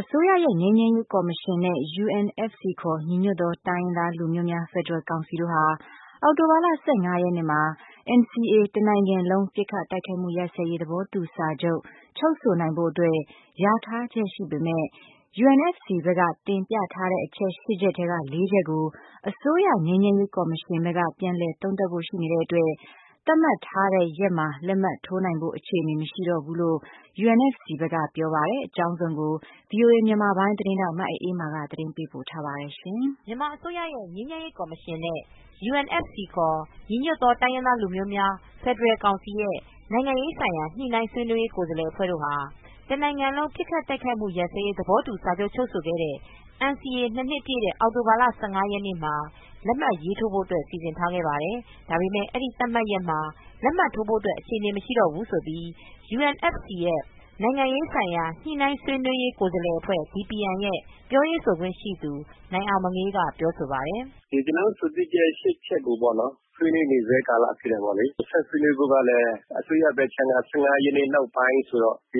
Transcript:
အစိုးရရဲ့ ငြိမ်းချမ်းရေးကော်မရှင်နဲ့ UNFC ခေါ် ညီညွတ်သောတိုင်းရင်းသားလူမျိုးများ ဖက်ဒရယ်ကောင်စီတို့ဟာ အောက်တိုဘာလ ၁၅ရက်နေ့မှာ NCA တနိုင်ငံလုံးပစ်ခတ်တိုက်ခိုက်မှုရပ်စဲရေးသဘောတူစာချုပ် - ချုပ်ဆိုနိုင်ဖို့အတွက် ယာထားချက်ရှိပေမယ့် UNFC ဘက်က တင်ပြထားတဲ့ အချက် ၈ ချက်ထဲက ၄ ချက်ကို အစိုးရငြိမ်းချမ်းရေးကော်မရှင်ဘက်က ပြန်လည်သုံးသပ်ဖို့ရှိနေတဲ့အတွက် သတ်မှတ်ထားတဲ့ ရက်မှာ လက်မှတ်ထိုးနိုင်ဖို့ အခြေအနေမရှိတော့ဘူးလို့ UNFC ဘက်ကပြောပါတယ်။ အကြောင်းစုံကို ဗွီအိုအေ မြန်မာပိုင်းသတင်းထောက် မအေးအေးမာ သတင်းပေးပို့ထားပါတယ်။ မြန်မာအစိုးရရဲ့ ငြိမ်းချမ်းရေးကော်မရှင်နဲ့ UNFC ခေါ် ညီညွတ်သောတိုင်းရင်းသားလူမျိုးများဖက်ဒရယ်ကောင်စီရဲ့ နိုင်ငံရေးဆိုင်ရာညှိနှိုင်း ဆွေးနွေးရေး ကိုယ်စားလှယ်အဖွဲ့တို့ဟာ တနို်င်ငံလုံးပစ်ခတ်တိုက်ခိုက်မှုရပ်စဲရေး သဘောတူစာချုပ် ချုပ်ဆိုခဲ့တဲ့ NCA ၂ နှစ် ပြည့်တဲ့ အောက်တိုဘာလ ၁၅ရက်နေ့မှာ လက်မှတ်ရေးထိုးဖို့ စီစဉ်ခဲ့ပါတယ်။ ဒါပေမဲ့ အဲဒီသတ်မှတ်ရက်မှာ လက်မှတ်ထိုးဖို့ အခြေအနေမရှိတော့ဘူးလို့ UNFC ရဲ့ နိုင်ငံရေးဆိုင်ရာညှိနှိုင်း ဆွေးနွေးရေး ကိုယ်စားလှယ်အဖွဲ့ DPN ရဲ့ ပြောရေးဆိုခွင့်ရှိသူ နိုင်အောင်မငေး က ပြောဆိုပါတယ်။ “ဒီကျနော်တို့ အဆိုပြုချက် ၈ ချက်ကိုပေါ့နော် ဆွေးနွေးနေဆဲကာလဖြစ်တယ်ပေါ့လေ။ ဆက်ဆွေးနွေးဖို့ကလည်း အစိုးရဘက်ခြမ်းကလည်း ၁၅ ရက်နေ့ နောက်ပိုင်းဆိုတော့ ဒါက